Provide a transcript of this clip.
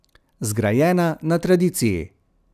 Zgrajena na tradiciji.